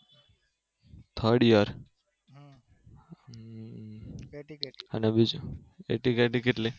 third year અને બીજું AT KT કેટલી?